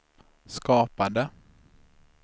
skapade